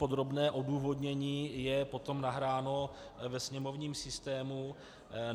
Podrobné odůvodnění je potom nahráno ve sněmovním systému.